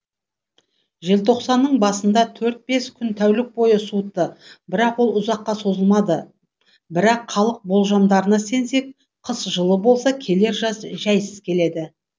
желтоқсанның басында төрт бес күн тәулік бойы суытты бірақ ол ұзаққа созылмады бірақ халық болжамдарына сенсек қыс жылы болса келер жаз жәйсіз келеді